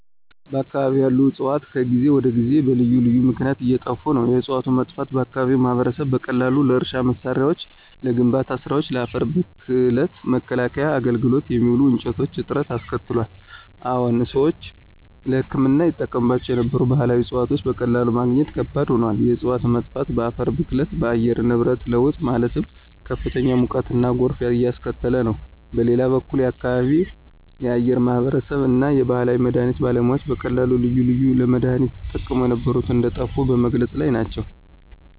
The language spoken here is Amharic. በአከባቢው ያሉ ዕፅዋት ከጊዜ ወደ ጊዜ በልዩ ልዩ ምክነያት እየጠፋ ነው። የዕፅዋቶቹ መጥፋት በአከባቢው ማህበረሰብ በቀላሉ ለእርሻ መሳሪያዎች፣ ለግንባታ ስራወች፣ ለአፈር ብክለት መከላከያ አገልግሎት የሚውሉ እንጨቶች እጥረት አስከትሏል። አዎን ሰዎች ለህክምና ይጠቀሙባቸው የነበሩ ባህላዊ ዕፅዋቶች በቀላሉ ማግኘት ከባድ ሆኗል። የእፅዋቶች መጥፋት በአፈር ብክለት፣ በአየር ንብረት ለውጥ ማለትም ከፍተኛ ሙቀትና ጎርፍ እያስከተለ ነው። በሌላ በኩል የአከባቢው የአከባቢው ማህበረሰብ እና የባህል መድሀኒት ባለሙያዎች በቀላሉ ልዩ ልዩ ለመድሃኒነት ይጠቀሙ የነበሩ እንደጠፉ በመግለፅ ላይ ናቸው።